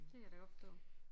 Det kan jeg da godt forstå